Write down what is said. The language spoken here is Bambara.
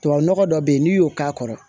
Tubabu nɔgɔ dɔ bɛ yen n'i y'o k'a kɔrɔ